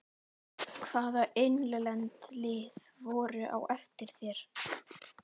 Hvaða innlend lið voru á eftir þér?